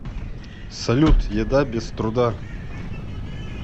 салют еда без труда